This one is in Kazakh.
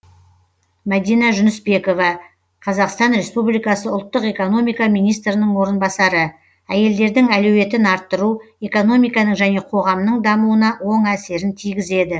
мадина жүнісбекова қазақстан республикасы ұлттық экономика министрінің орынбасары әйелдердің әлеуетін арттыру экономиканың және қоғамның дамуына оң әсерін тигізеді